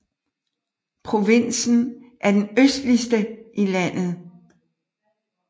Provinsen er den østligste i landet